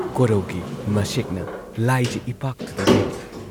ꯀꯣꯔꯧꯒꯤ ꯃꯁꯦꯛꯅ ꯂꯥꯏꯖ ꯏꯄꯥꯛꯇꯨꯗ ꯌꯩꯔꯤ ꯫